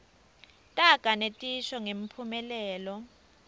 taga netisho ngemphumelelo